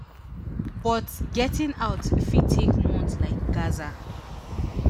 but getting out fit take months like gaza